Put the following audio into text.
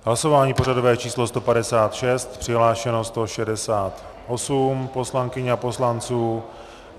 Hlasování pořadové číslo 156, přihlášené 168 poslankyň a poslanců.